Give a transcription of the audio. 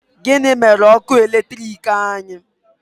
Gịnị mere ọkụ eletrik anyị?